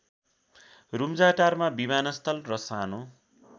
रूम्जाटारमा विमानस्थल र सानो